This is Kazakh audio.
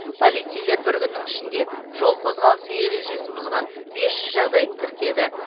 полицейлер бір күннің ішінде жол қозғалысы ережесін бұзған бес жүз жағдайды тіркеді